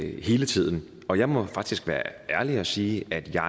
hele tiden og jeg må faktisk være ærlig og sige at jeg